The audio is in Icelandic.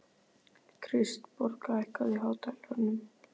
Kristborg, hækkaðu í hátalaranum.